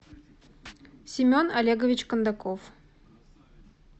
семен олегович кондаков